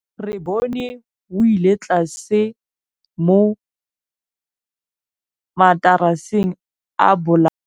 Re bone wêlôtlasê mo mataraseng a bolaô.